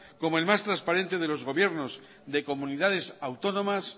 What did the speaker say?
como el más transparente de los gobiernos de comunidades autónomas